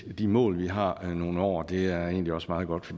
de mål vi har i nogle år det er egentlig også meget godt